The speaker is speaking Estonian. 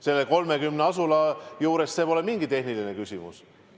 Nendes 30 asulas pole see mingi tehniline küsimus.